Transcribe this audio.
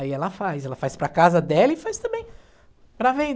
Aí ela faz, ela faz para a casa dela e faz também para